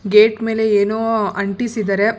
Gate ಮೇಲೆ ಏನೋ ಅಂಟಿಸಿದಾರೆ.